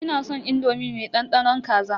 Ina san indomi mai dandanon kaza.